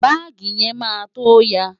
Báàgì yẹn máa tó ya.